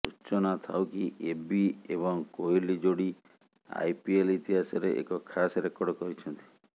ସୂଚନାଥାଉ କି ଏବି ଏବଂ କୋହଲି ଯୋଡି ଆଇପିଏଲ ଇତିହାସରେ ଏକ ଖାସ୍ ରେକର୍ଡ କରିଛନ୍ତି